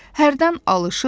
Hərdən alışır.